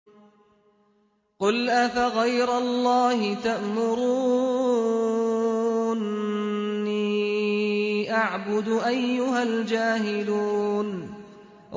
قُلْ أَفَغَيْرَ اللَّهِ تَأْمُرُونِّي أَعْبُدُ أَيُّهَا الْجَاهِلُونَ